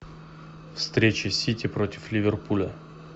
встреча сити против ливерпуля